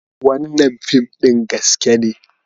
Wannan fim ɗin gaske ne.